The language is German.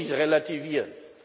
Das soll nicht relativieren.